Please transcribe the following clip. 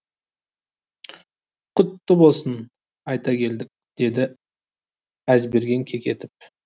құтты болсын айта келдік деді әзберген кекетіп